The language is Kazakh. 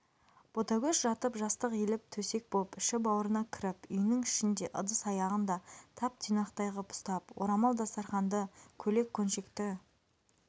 ботагөз жатып жастық иіліп төсек боп іші-бауырына кіріп үйінің ішін де ыдыс-аяғын да тап-тұйнақтай ғып ұстап орамал-дастарқанды көйлек-көншекті